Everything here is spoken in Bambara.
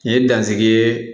N ye dansigi